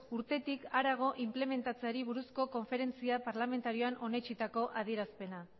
urtetik harago inplementatzeari buruzko konferentzia parlamentarioan onetsitako adierazpena